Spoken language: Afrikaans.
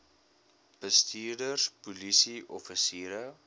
bestuurders polisie offisiere